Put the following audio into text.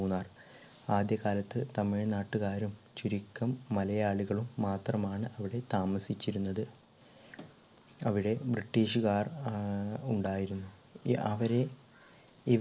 മൂന്നാർ ആദ്യകാലത്ത് തമിഴ് നാട്ടുകാരും ചുരുക്കം മലയാളികളും മാത്രമാണ് അവിടെ താമസിച്ചിരുന്നത്. അവിടെ british കാർ ഏർ ഉണ്ടായിരുന്നു ഈ അവരെ